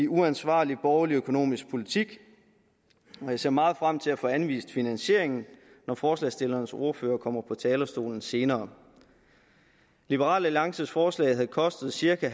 uansvarlig borgerlig økonomisk politik og jeg ser meget frem til at få anvist finansieringen når forslagsstillernes ordfører kommer på talerstolen senere liberal alliances forslag havde kostet cirka